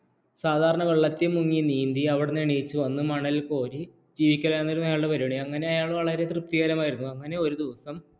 സാധാരണ വെള്ളത്തിൽ മുങ്ങി നീന്തി അവിടുന്ന് എണീറ്റ് വന്ന് മണൽ കോരി ജീവിക്കലായിരുന്നു അയാളുടെ പരിപാടി അങ്ങനെ അയാൾ വളരെ തൃപ്തികരമായിരുന്നു അങ്ങനെ ഒരു ദിവസം